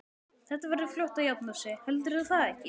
Þetta verður fljótt að jafna sig. heldurðu það ekki?